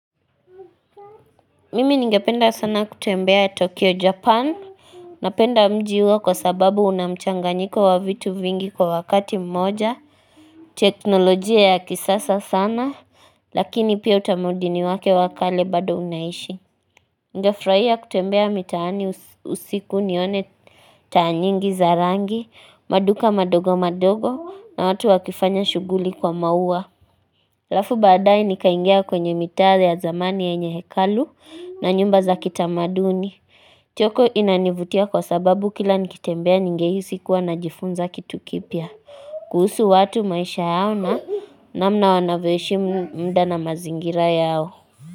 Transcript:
Mimi ningependa sana kutembea Tokyo Japan Napenda mji huo kwa sababu unamchanganyiko wa vitu vingi kwa wakati mmoja teknolojia ya kisasa sana Lakini pia utamaudini wake wakale bado unaishi Ningefraia kutembea mitaani usiku nione taanyingi za rangi maduka madogo madogo na watu wakifanya shuguli kwa maua Alafu baadae nikaingia kwenye mitaa ya zamani yenye hekalu na nyumba za kitamaduni, Tokyo inanivutia kwa sababu kila nikitembea ningeisi kuwa na jifunza kitu kipia. Kuhusu watu maisha yao na namna wanavyoishi mda na mazingira yao.